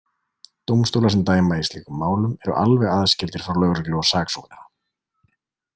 Dómstólar sem dæma í slíkum málum eru alveg aðskildir frá lögreglu og saksóknara.